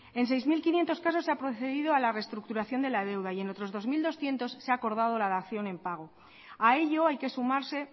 en seis mil quinientos casos se ha procedido a la reestructuración de la deuda y en otros dos mil doscientos se ha acordado la dación en pago a ello hay que sumarse